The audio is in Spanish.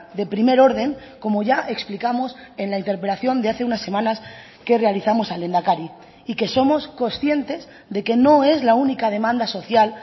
de primer orden como ya explicamos en la interpelación de hace unas semanas que realizamos al lehendakari y que somos conscientes de que no es la única demanda social